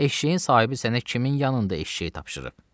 Eşşəyin sahibi sənə kimin yanında eşşəyi tapşırıb?